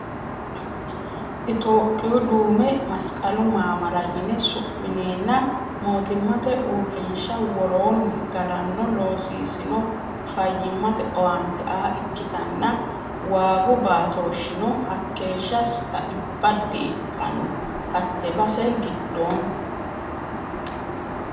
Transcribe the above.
Itophiyu duume masikalu mamaara yine su'minenna mootimmate uurrinsha worooni galano loosisino fayyimate owaante aa ikkittanna waagu baatoshino hakeeshsha saibbo di"ikkano hate base giddooni.